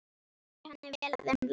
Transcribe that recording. Það fer henni vel að umla.